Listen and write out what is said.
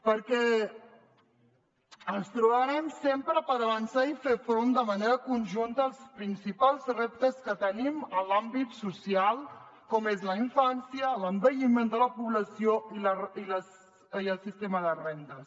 perquè ens trobarem sempre per avançar i fer front de manera conjunta als principals reptes que tenim en l’àmbit social com són la infància l’envelliment de la població i el sistema de rendes